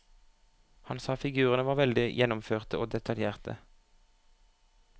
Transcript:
Han sa figurene var veldig gjennomførte og detaljerte.